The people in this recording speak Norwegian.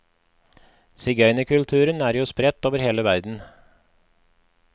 Sigøynerkulturen er jo spredt over hele verden.